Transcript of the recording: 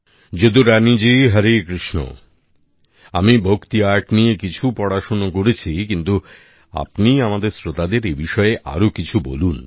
যদুরানীজি হরে কৃষ্ণ আমি ভক্তি আর্ট নিয়ে কিছু পড়াশোনা করেছি কিন্তু আপনি আমাদের শ্রোতাদের এ বিষয়ে আরো কিছু বলুন